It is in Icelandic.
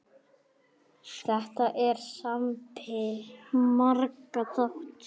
Þetta er samspil margra þátta.